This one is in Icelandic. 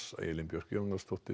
Elín Björk Jónasdóttir